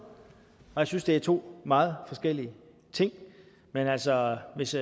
og jeg synes det er to meget forskellige ting men altså hvis